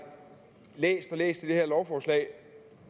læst og læst i det her lovforslag